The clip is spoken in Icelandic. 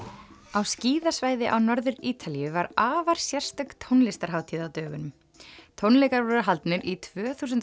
á skíðasvæði á Norður Ítalíu var afar sérstök tónlistarhátíð á dögunum tónleikar voru haldnir í tvö þúsund